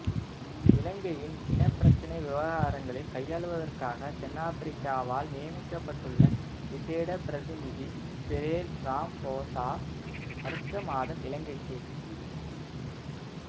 இலங்கையின் இனப்பிரச்சினை விவகாரங்களை கையாள்வதற்காக தென்னாபிரிக்காவால் நியமிக்கப்பட்டுள்ள விசேட பிரதிநிதி சிரேல் ராம்போசா அடுத்த மாதம் இலங்கைக்கு